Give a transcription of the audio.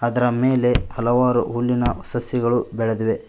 ಅದರ ಮೇಲೆ ಹಲವಾರು ಹುಲ್ಲಿನ ಸಸಿಗಳು ಬೆಳೆದಿವೆ.